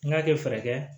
N k'a kɛ fɛɛrɛ kɛ